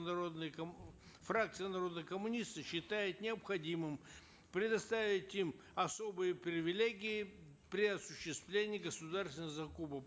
народные фракция народные коммунисты считает необходимым предоставить им особые привилегии при осуществлении государственных закупок